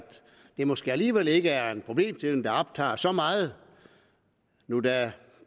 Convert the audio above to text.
det måske alligevel ikke er en problemstilling der optager dem så meget nu da